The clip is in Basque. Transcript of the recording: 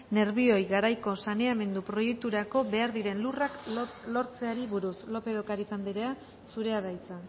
nerbioi garaiko saneamendu proiekturako behar diren lurrak lortzeari buruz lópez de ocariz andrea zurea da hitza